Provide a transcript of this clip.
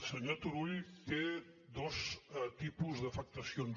senyor turull té dos tipus d’afectacions